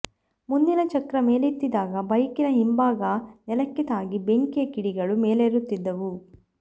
ಮುಂದಿನ ಚಕ್ರ ಮೇಲೆತ್ತಿದ್ದಾಗ ಬೈಕಿನ ಹಿಂಭಾಗ ನೆಲಕ್ಕೆ ತಾಗಿ ಬೆಂಕಿಯ ಕಿಡಿಗಳು ಮೇಲೆರುತ್ತಿದ್ದವು